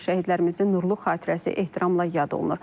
Şəhidlərimizin nurlu xatirəsi ehtiramla yad olunur.